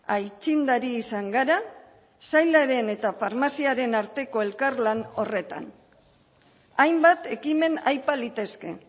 aitzindari izan gara sailaren eta farmaziaren arteko elkarlan horretan hainbat ekimen aipa litezke